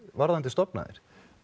varðandi stofnæðar